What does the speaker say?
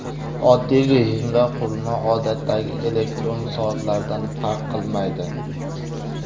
Oddiy rejimda qurilma odatdagi elektron soatlardan farq qilmaydi.